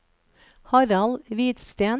Harald Hvidsten